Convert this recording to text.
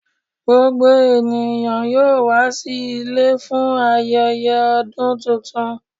Gbogbo ènìyàn yóò wà sí ilẹ̀ fún ayẹyẹ ọ̀dún tuntun.